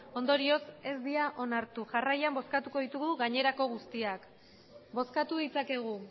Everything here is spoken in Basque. ondorioz ez dira onartu jarraian bozkatuko ditugu gainerako guztiak bozkatu ditzakegu